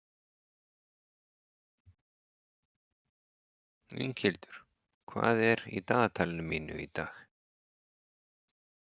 Inghildur, hvað er í dagatalinu mínu í dag?